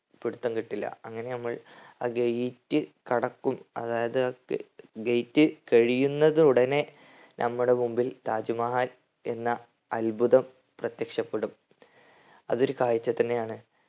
പിടുത്തം കിട്ടീല്ല. അങ്ങനെ നമ്മൾ ആ gate കടക്കും അതായത് ആ gate കഴിയുന്നതുടനെ നമ്മടെ മുമ്പിൽ താജ് മഹൽ എന്ന അത്ഭുതം പ്രത്യക്ഷപ്പെടും അതൊരു കാഴ്ച തന്നെയാണ്